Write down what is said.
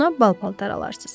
Ona bal paltar alarsız.